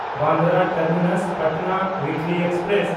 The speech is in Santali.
ᱵᱟᱱᱫᱨᱟ ᱴᱟᱨᱢᱤᱱᱟᱥ–ᱯᱟᱴᱱᱟ ᱩᱭᱤᱠᱞᱤ ᱮᱠᱥᱯᱨᱮᱥ